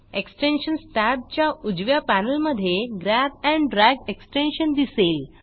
extensions टॅबच्या उजव्या पॅनेलमधे ग्रॅब एंड ड्रॅग एक्सटेन्शन दिसेल